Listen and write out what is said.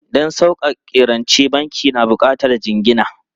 Don sauƙaƙe rance, banki na buƙatar jingina.